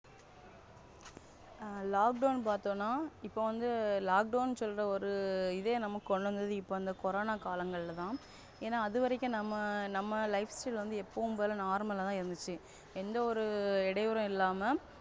Lockdown பாத்தோனா, இப்போ வந்து Lockdown சொல்ற ஒரு இதே நமக்கு கொண்டுவந்த இப்போ அந்த Corona காலங்கள்லேத. ஏன அதுவரைக்கும் நம்ம நம்ம Lifestyle வந்து எப்போயோம்போல Normal தா இருந்துச்சு எந்த ஒரு இடைஇடைவரும் இல்லாம.